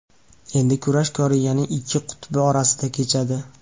Endi kurash Koreyaning ikki qutbi o‘rtasida kechadi.